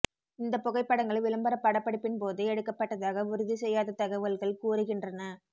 இந்த புகைப்படங்கள் விளம்பர படப்பிடிப்பின்போது எடுக்கப்பட்டதாக உறுதி செய்யாத தகவல்கள் கூறுகின்றன